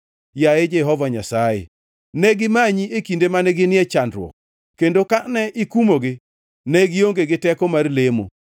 Yaye Jehova Nyasaye, negimanyi e kinde mane ginie chandruok; kendo kane ikumogi ne gionge gi teko mar lemo.